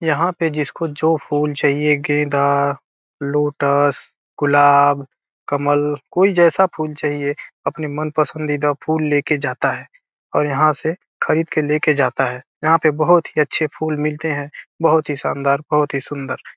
यहाँ पे जिसको जो फूल चाहिए गेंदा लोटस गुलाब कमल कोई जैसा फूल चाहिए अपने मन पसंददीदा फूल ले के जाता है और यहाँ से खरीद के लेके जाता है यहाँ पे बहुत ही अच्छे फूल मिलते हैं बहुत ही शानदार बहुत ही सुंदर।